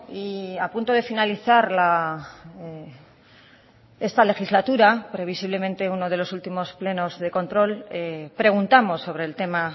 y a punto de finalizar esta legislatura previsiblemente uno de los últimos plenos de control preguntamos sobre el tema